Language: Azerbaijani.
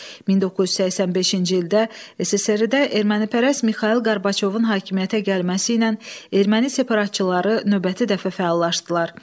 1985-ci ildə SSRİ-də ermənipərəst Mixail Qorbaçovun hakimiyyətə gəlməsi ilə erməni separatçıları növbəti dəfə fəallaşdılar.